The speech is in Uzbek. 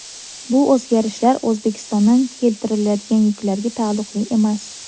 Bu o‘zgarishlar O‘zbekistondan keltiriladigan yuklarga taalluqli emas.